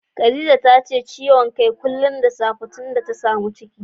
Khadijat tace ciwon kai kullum da safe tunda ta samu ciki